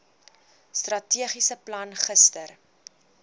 strategiese plan gister